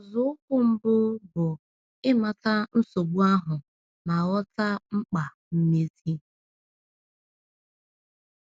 Nzọụkwụ mbụ bụ ịmata nsogbu ahụ ma ghọta mkpa mmezi.